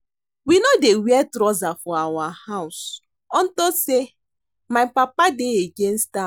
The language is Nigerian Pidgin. We no dey wear trouser for our house unto say my papa dey against am